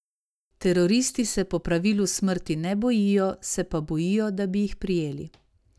Teroristi se po pravilu smrti ne bojijo, se pa bojijo, da bi jih prijeli.